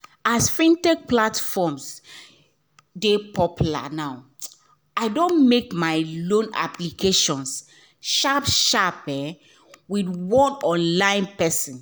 as fintech platforms dey popular now i don make my loan applications sharp sharp um with one online person